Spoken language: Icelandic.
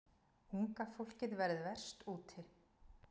Unga fólkið verði verst úti.